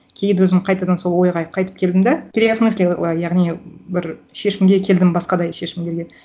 кейін де өзім қайтадан сол ойға қайтып келдім да переосмыслила яғни бір шешімге келдім басқадай шешімдерге